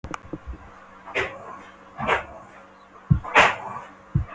Enn sem fyrr var breiðgatan vettvangur fagurra og tilhaldssamra kvenna.